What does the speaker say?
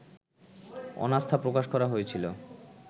অনাস্থা প্রকাশ করা হয়েছিল